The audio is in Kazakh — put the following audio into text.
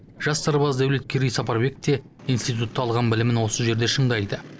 жас сарбаз дәулеткерей сапарбек те институтта алған білімін осы жерде шыңдайды